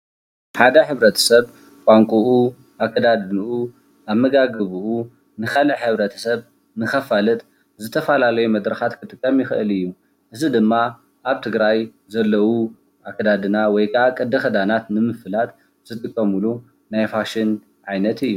ሓደ ሕ/ስብ ቋንቁኡ ኣከዳድንኡ ኣመጋግብኡ ንካልእ ሕ/ስብ ንክፋልጥ ዝተፈላለየ መድረካት ክጥቀም ይክእል እዩ:: እዚ ድማ ኣብ ትግራይ ዘለው ኣከዳድና ውይ ድማ ቅድ ክዳናት ንምፍላጥ ዝጥቀምሉ ናይ ፋሽን ዓይነት እዩ።